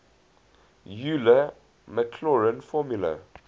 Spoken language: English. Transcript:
euler maclaurin formula